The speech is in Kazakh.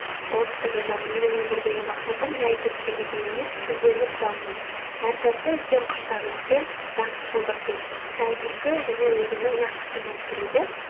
ол кісі жазады менің өмірдегі мақсатым жәй тіршілік ету емес гүлденіп даму әр сәтті үлкен құштарлықпен рақымшылдықпен сән күлкі және өзінің нақышымен сүру деп